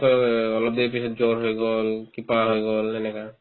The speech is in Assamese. আকৌ অলপ দেৰি পিছত জ্বৰ হৈ গ'ল কিবা হৈ গ'ল সেনেকা আৰু